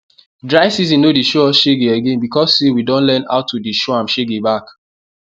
dry season no dey show us shege again because say we don learn how to dey show am shege back